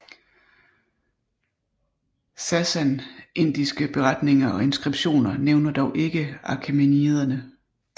Sassanidiske beretninger og inskriptioner nævner dog ikke achæmeniderne